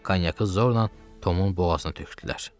Konyakı zorla Tomun boğazına tökdülər.